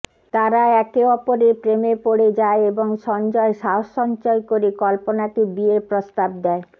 তারা একে অপরের প্রেমে পড়ে যায় এবং সঞ্জয় সাহস সঞ্চয় করে কল্পনাকে বিয়ের প্রস্তাব দেয়